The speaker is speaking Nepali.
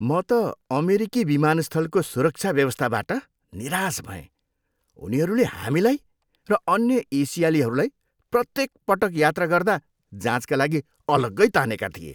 म त अमेरिकी विमानस्थलको सुरक्षा व्यवस्थाबाट निराश भएँ, उनीहरूले हामीलाई र अन्य एसियालीहरूलाई प्रत्येकपटक यात्रा गर्दा जाँचका लागि अलग्गै तानेका थिए।